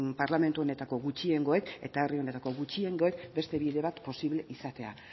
parlamentu honetako gutxiengoek eta herri honetako gutxiengoek beste bide bat posible izatea